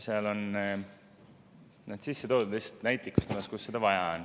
See on lihtsalt näitlikustamiseks sisse toodud, kus seda vaja on.